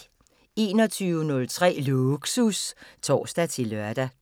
21:03: Lågsus (tor-lør)